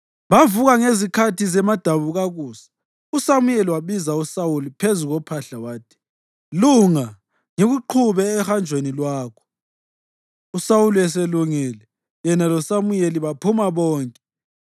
Bavuka ngezikhathi zemadabukakusa, uSamuyeli wabiza uSawuli phezu kophahla wathi, “Lunga ngikuqhube ohanjweni lwakho.” USawuli eselungile, yena loSamuyeli baphuma bonke.